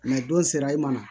don sera i ma